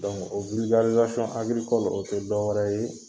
Donku, o o tɛ dɔ wɛrɛ ye